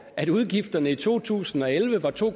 at udgifterne i to tusind og elleve var to